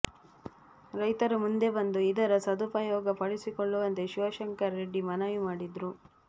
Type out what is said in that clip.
ರೈತರು ಮುಂದೆ ಬಂದು ಇದರ ಸದುಪಯೋಗಪಡಿಸಿಕೊಳ್ಳುವಂತೆ ಶಿವಶಂಕರ್ ರೆಡ್ಡಿ ಮನವಿ ಮಾಡಿದರು